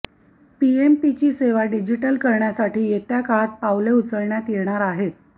पीएमपीची सेवा डिजिटल करण्यासाठी येत्या काळात पावले उचलण्यात येणार आहेत